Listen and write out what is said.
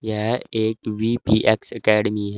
यह एक V P X academy है।